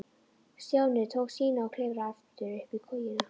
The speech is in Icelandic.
Stjáni tók sína og klifraði aftur upp í kojuna.